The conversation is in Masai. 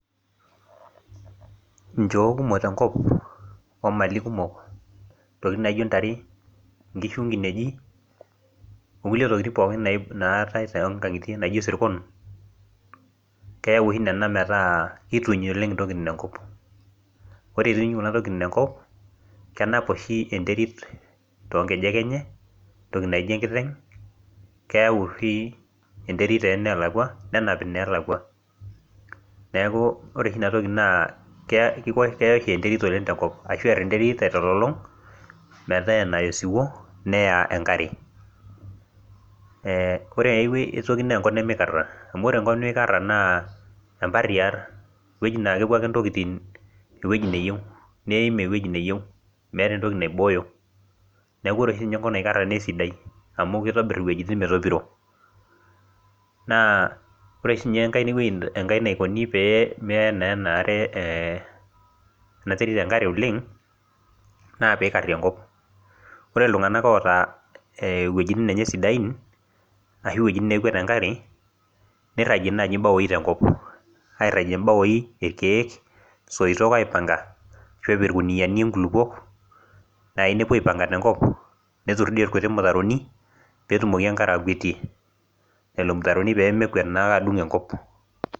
Nchoo kumok tenkop omali kumok intokitin naijio ntare nkishu inkineji okulie tokitin pooki naa naatae tonkang'itie naijio isirkon keyau ohi nena metaa kituny oleng intokitin enkop ore ituny kuna tokitin enkop kenap oshi enterit tonkejek enye entoki naijo enkiteng keyau oshi enterit tonelakua nenap inelakua neku ore oshi inatoki naa keya kiko keya oshi enterit oleng tenkop ashu err enterit aitololong metaa enaya osiwuo neya enkare eh ore ae wuei aetoki naa enkop nemikarra amu ore enkop nemikarra naa emparriar ewueji naa kepuo ake intokiting ewueji neyieu neim ewueji neyieu meeta entoki naibooyo neku ore oshi sinye enkop naikarra neisidai amu kitobirr iwuejitin metopiro naa ore oshi inye enkai hhhhewuei enkae naikoni pee meya naa ena are eh ena terit enkare oleng naa pikarri enkop ore iltung'anak oota iwuejitin enye sidain ashu iwuejitin neirrag enkare neirragie naaji imbawoi tenkop airragie imbaoi irkeek isoitok aipanga ashu epik irkuniani inkulupuok nai nepuo aipanga tenkop neturr dii irkuti mutaroni petumoki enkare akwetie lelo mtaroni pemekwet naake adung enkop.